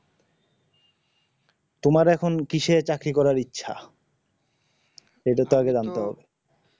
তোমার এখন কিসের চাকরি করার ইচ্ছা সেটা তো আগে জানতে হবে